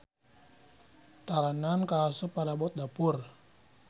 Talenan kaasup parabot dapur.